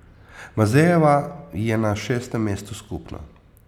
Mazejeva je na šestem mestu skupno.